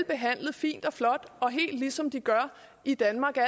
behandlet fint og flot og helt ligesom de gør i danmark der